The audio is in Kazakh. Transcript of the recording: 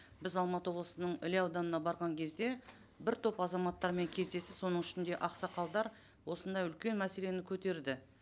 біз алматы облысының іле ауданына барған кезде бір топ азаматтармен кездесіп соның ішінде ақсақалдар осындай үлкен мәселені көтерді